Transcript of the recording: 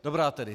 Dobrá tedy.